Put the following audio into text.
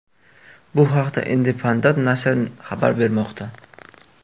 Bu haqda Independent nashri xabar bermoqda .